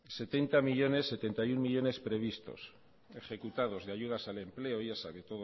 setenta y uno millónes previstos ejecutados de ayudas al empleo ya sabe